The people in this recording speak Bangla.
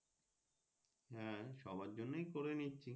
হ্যাঁ সবার জন্য করে নিচ্ছি।